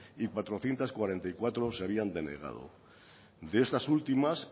y cuatrocientos cuarenta y cuatro se habían denegado de estas últimas